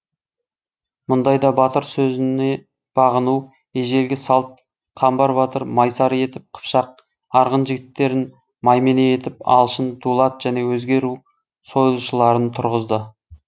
мұндайда батыр сөзіне бағыну ежелгі салт қамбар батыр майсары етіп қыпшақ арғын жігіттерін маймене етіп алшын дулат және өзге ру сойылшыларын тұрғызды